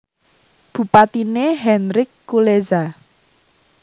Bupatiné Henryk Kulesza